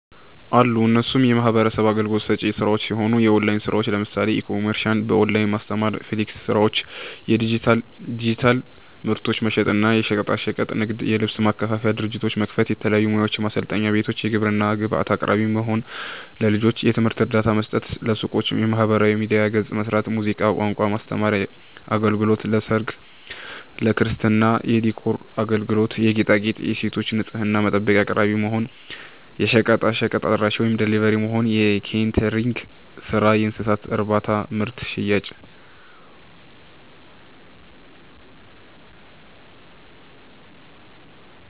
አሉ እነሱም የሚህበረሰብ አገልግሎት ሰጪ ስራዎች ሲሆኑ፦ የኦላይን ስራዎች ለምሳሌ፦ ኢ-ኮሜርስ፣ በኦላይን ማስተማር፣ ፍሊራንስ ስራዎች፣ ዲጂታል ምርቶችን መሸጥ እና፣ የሸቀጣሸቀጥ ንግድ, የልብስ ማከፋፈያ ድርጅት መክፈት፣ የተለያዩ ሙያዎችን ማሰልጠኛ ቤቶች፣ የግብርና ግብአት አቅራቢ መሆን፣ ለልጆች የትምህርት እርዳታ መስጠት፣ ለሱቆች የማህበራዊ ሚዲያ ገፅ መስራት፣ ሙዚቃ፣ ቋንቋ የማስተማር አገልግሎት ለሰርግ፣ ለክርስትና የዲኮር አገልግሎት የጌጣጌጥ, የሴቶች ንፅህና መጠበቂያ አቅራቢ መሆን፣ የሸቀጥ አድራሺ(ደሊቨሪ)መሆን፣ የኬተሪንግ ስራ፣ የእንስሳት እርባታና ምርት ሽያጭ